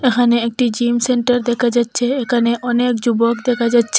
এখানে একটি gym centre দেখা যাচ্চে এখানে অনেক যুবক দেখা যাচ্চে।